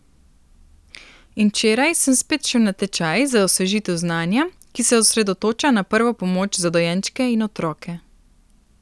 In včeraj sem spet šel na tečaj za osvežitev znanja, ki se osredotoča na prvo pomoč za dojenčke in otroke.